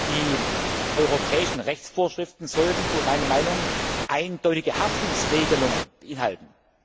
Die europäischen Rechtsvorschriften sollten, so meine Meinung, eindeutige Haftungsregelungen beinhalten.